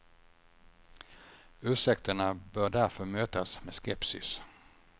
Ursäkterna bör därför mötas med skepsis.